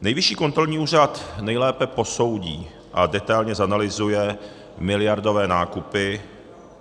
Nejvyšší kontrolní úřad nejlépe posoudí a detailně zanalyzuje miliardové nákupy.